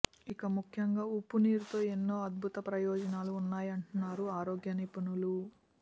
ఇక ముఖ్యంగా ఉప్పు నీరుతో ఎన్నో అద్భుత ప్రయోజనాలు ఉన్నాయంటున్నారు ఆరోగ్య నిపుణులు